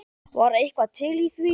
Var eitthvað til í því?